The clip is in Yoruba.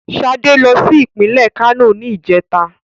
Ṣadé lọ sí ìpínlè Kano ní ìjẹ́ta.